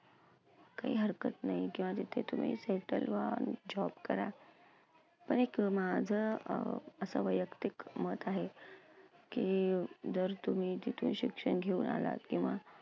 काही हरकत नाही. किंवा तिथे तुम्ही settle व्हा, job करा. पण एक माझं अं असं व्ययक्तिक मत आहे, की जर तुम्ही तिथे शिक्षण घेऊन आलात किंवा